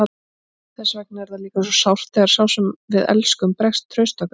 Þess vegna er það líka svo sárt þegar sá sem við elskum bregst trausti okkar.